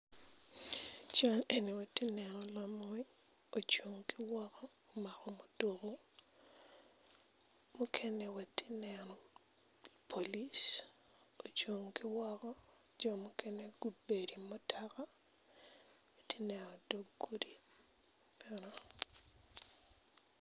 Ical eni watye ka neno lamony ocung ki woko omako muduku mukene watye ka neno polic ocung kiwoko ki jo mukene gubedo i mutoka atye ka neno dog gudi